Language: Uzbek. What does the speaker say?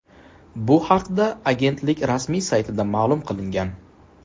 Bu haqda agentlik rasmiy saytida ma’lum qilingan .